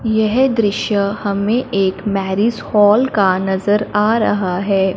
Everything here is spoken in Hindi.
यह दृश्य हमें एक मैरिज हॉल का नजर आ रहा है।